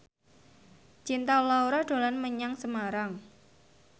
Cinta Laura dolan menyang Semarang